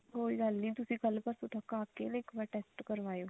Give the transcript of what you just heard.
ਕੋਈ ਗੱਲ ਨੀ ਤੁਸੀਂ ਕੱਲ ਪਰਸੋੰ ਤੱਕ ਆ ਕੇ ਨਾ ਇੱਕ ਵਾਰੀ test ਕਰਵਾਓ